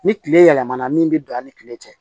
Ni tile yɛlɛmana min bɛ don a' ni kile cɛ